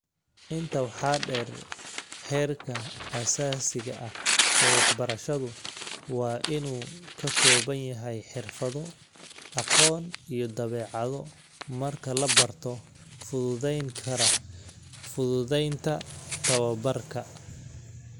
Intaa waxaa dheer, heerka aasaasiga ah ee waxbarashadu waa inuu ka kooban yahay xirfado, aqoon iyo dabeecado marka la barto, fududayn kara fududaynta tababbarka.